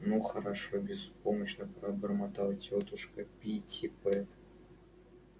ну хорошо беспомощно пробормотала тётушка питтипэт как всегда пасуя перед более сильным чем у нее характером